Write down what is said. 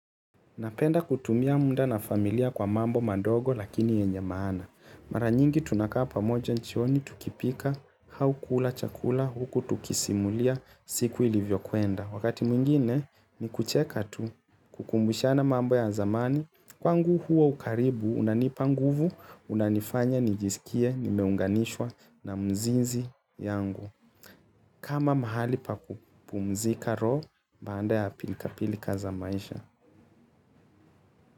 Napenda kutumia muda na familia kwa mambo madogo lakini yenye maana. Mara nyingi tunakaa pamoja jioni, tukipika, au kula chakula, huku tukisimulia, siku ilivyokwenda. Wakati mwingine ni kucheka tu kukumbushana mambo ya zamani. Kwangu huo ukaribu, unanipa nguvu, unanifanya nijisikie, nimeunganishwa na mzizi yangu. Kama mahali pa kupumzika roho, baanda ya pilikapilika za maisha.